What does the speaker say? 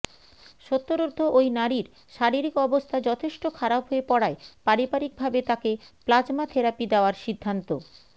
সত্তরোর্ধ্ব ওই নারীর শারীরিক অবস্থা যথেষ্ট খারাপ হয়ে পড়ায় পারিবারিকভাবে তাকে প্লাজমা থেরাপি দেওয়ার সিদ্ধান্ত